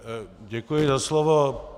Děkuji za slovo.